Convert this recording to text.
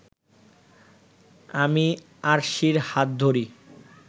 আমি আরশির হাত ধরি